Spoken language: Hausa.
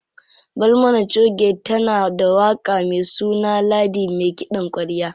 Barmana choge tana da waƙa me suna Ladi me kiɗan ƙwarya.